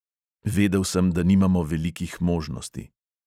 Vedel sem, da nimamo velikih možnosti.